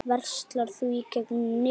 Verslar þú í gegnum netið?